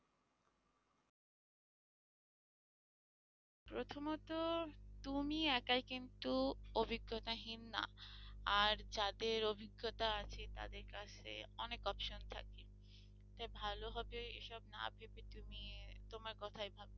প্রথমত তুমি একাই কিন্তু অভিজ্ঞতাহীন না আর যাদের অভিজ্ঞতা আছে তাদের কাছে অনেক option থাকে তাই ভালো হবে এসব না ভেবে তুমি তোমার কথাই ভাবো।